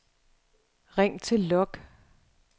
ring til log